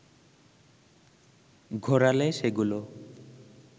ঘোরালে সেগুলো